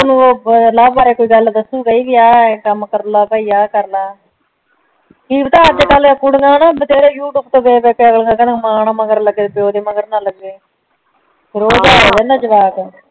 ਤੈਨੂ ਓ ਲਵ ਬਾਰੇ ਕੋਈ ਗੱਲ ਦੱਸੂਗਾ ਹੀ ਕੇ ਆ ਕੰਮ ਕਰਲਾ ਬੀ ਆ ਕਰਲਾ ਕੀ ਪਤਾ ਅੱਜ ਕੱਲ ਕੁੜੀਆ ਨਾ ਬਥੇਰੇ ਯੂ ਟਿਊਬ ਤੋਂ ਵੇਖ ਵੇਖ ਅਗਲਿਆ ਕਿਹਣ ਮਾਂ ਨਾ ਮਗਰ ਲੱਗੇ ਪੇਓ ਦੇ ਮਗਰ ਨਾ ਲੱਗੇ ਰੋਜ਼ ਦਾ ਹੀ